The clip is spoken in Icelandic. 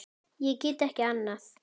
Ég get ekki annað.